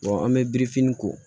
an bɛ biriki ko